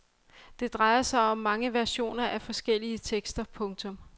Det drejer sig om mange versioner af forskellige tekster. punktum